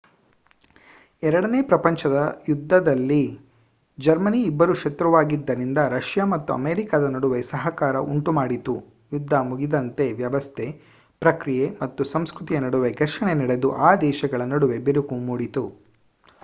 ಎರಡನೇ ಪ್ರಪಂಚ ಯುದ್ಧದಲ್ಲಿ ಜರ್ಮನಿ ಇಬ್ಬರ ಶತ್ರುವಾಗಿದ್ದರಿಂದ ರಷ್ಯಾ ಮತ್ತು ಅಮೇರಿಕಾದ ನಡುವೆ ಸಹಕಾರ ಉಂಟುಮಾಡಿತು ಯುದ್ಧ ಮುಗಿದಂತೆ ವ್ಯವಸ್ಥೆ ಪ್ರಕ್ರಿಯೆ ಮತ್ತು ಸಂಸ್ಕೃತಿಯ ನಡುವೆ ಘರ್ಷಣೆ ನಡೆದು ಆ ದೇಶಗಳ ನಡುವೆ ಬಿರುಕು ಮೂಡಿತು